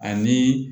Ani